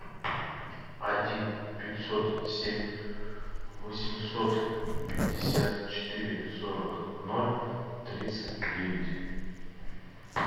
один пятьсот семь восемьсот пятьдесят четыре сорок ноль тридцать девять